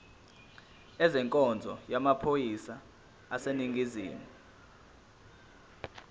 ezenkonzo yamaphoyisa aseningizimu